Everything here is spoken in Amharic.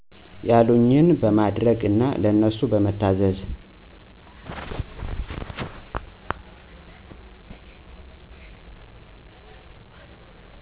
ያሉኝን በማድረግ እና ለነሱ በመታዘዝ።